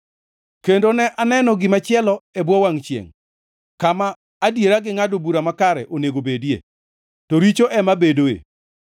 Kendo ne aneno gimachielo e bwo wangʼ chiengʼ: Kama adiera gi ngʼado bura makare onego bedie, to richo ema bedoe.